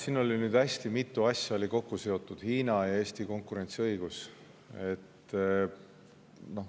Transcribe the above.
Siin oli nüüd hästi mitu asja kokku seotud: Hiina ja Eesti konkurentsiõigus.